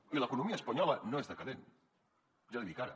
i l’economia espanyola no és decadent ja l’hi dic ara